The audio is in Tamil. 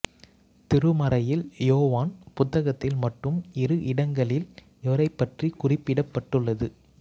திருமறையில் யோவான் புத்தகத்தில் மட்டும் இரு இடங்களில் இவரைப்பற்றி குறிப்பிடப்பட்டுள்ளது